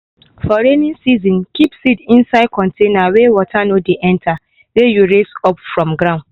for rainy season keep seed inside container weh water no de enter wey you raise up from ground.